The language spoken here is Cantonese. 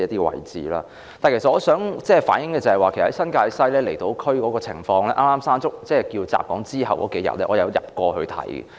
但是，我想反映新界西和離島區的情況，在颱風"山竹"襲港後的數天，我曾前往視察。